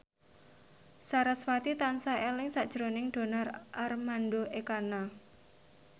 sarasvati tansah eling sakjroning Donar Armando Ekana